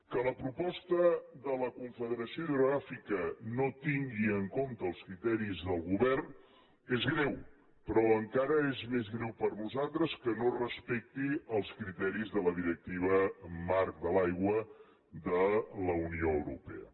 que la proposta de la confederació hidrogràfica no tingui en compte els criteris del govern és greu però encara és més greu per a nosaltres que no respecti els criteris de la directiva marc de l’aigua de la unió europea